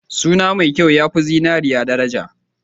Suna mai kyau ya fi zinariya daraja.